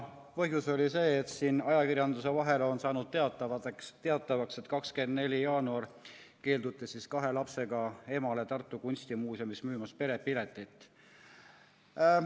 Põhjus oli see, et ajakirjanduse vahendusel on saanud teatavaks, et 24. jaanuaril keelduti kahe lapsega emale Tartu Kunstimuuseumis müümast perepiletit.